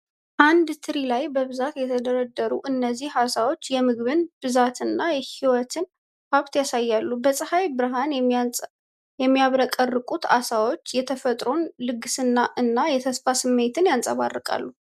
በአንድ ትሪ ላይ በብዛት የተደረደሩት እነዚህ ዓሦች የምግብን ብዛትና የሕይወትን ሀብት ያሳያሉ። በፀሐይ ብርሃን የሚያብረቀርቁት ዓሦች የተፈጥሮን ልግስና እና የተስፋን ስሜት ያንጸባርቃሉ።